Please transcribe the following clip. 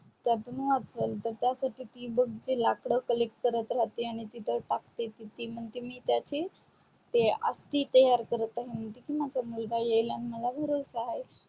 तर अजून ही ती तर त्या साठी ती बग लाखड collect करत रहाते आणि तिथे टाकते आणि तर ती म्हणते मी त्याची अस्थि तयार करत आहे आणि म्हणते की माझा मुलगा येईल आणि मला आणि मला भरोसा आहे